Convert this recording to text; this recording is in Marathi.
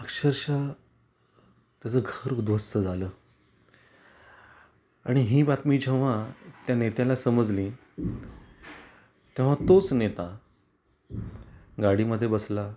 अक्षरशः त्याच घर उद्ध्वस्त झालं आणि ही बातमी जेव्हा त्या नेत्याला समजली तेव्हा तोच नेता गाडी मधे बसला